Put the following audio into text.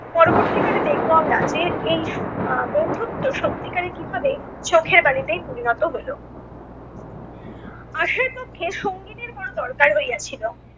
পরবর্তী কালে দেখব আমরা যে এই আহ বন্ধুত্ব সত্যিকারে কীভাবে চোখের বালিতেই পরিণত হলো। আশার পক্ষে সঙ্গিনীর বড় দরকার হইয়াছিল।